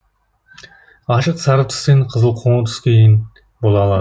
ашық сары түстен қызыл қоңыр түске дейін бола ала